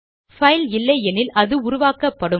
file இல்லையெனில் அது உருவாக்கப்படும்